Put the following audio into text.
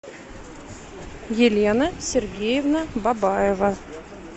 елена сергеевна бабаева